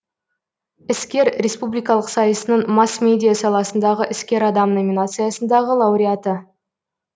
іскер республикалық сайысының масс медиа саласындағы іскер адам номинациясындағы лауреаты